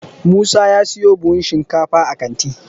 musa ya siyo buhun shinkafa a kanti